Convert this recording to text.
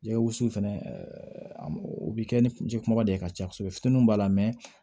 Jɛgɛ wusu fɛnɛ o bɛ kɛ ni ji kumaba de ye ka caya kosɛbɛ fitininw b'a la